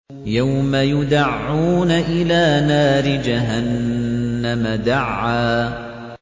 يَوْمَ يُدَعُّونَ إِلَىٰ نَارِ جَهَنَّمَ دَعًّا